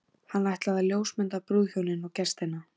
Hann ætlaði að ljósmynda brúðhjónin og gestina.